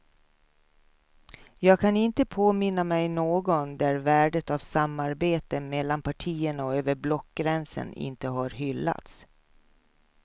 Jag kan inte påminna mig någon där värdet av samarbete mellan partierna och över blockgränsen inte har hyllats.